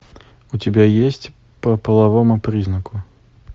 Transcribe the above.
у тебя есть по половому признаку